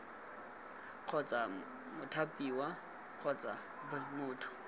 kgotsa mothapiwa kgotsa b motho